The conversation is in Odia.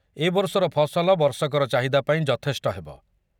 ଏ ବର୍ଷର ଫସଲ ବର୍ଷକର ଚାହିଦା ପାଇଁ ଯଥେଷ୍ଟ ହେବ।